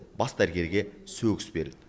бас дәрігерге сөгіс берілді